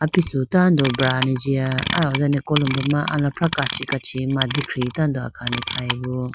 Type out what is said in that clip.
apisu tando brane jiya aho dane kolombo ma alafrah kachi kachi mandikhi khayebo.